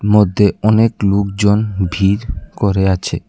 মধ্যে অনেক লুকজন ভিড় করে আছে।